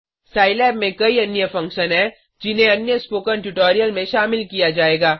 Scilab में कई अन्य फंक्शन हैं जिन्हें अन्य स्पोकन ट्यूटोरियल में शामिल किया जाएगा